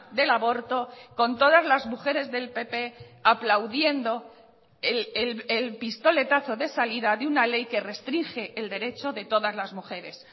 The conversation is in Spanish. del aborto con todas las mujeres del pp aplaudiendo el pistoletazo de salida de una ley que restringe el derecho de todas las mujeres